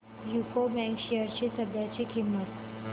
UCO bank shares ची सध्याची किंमत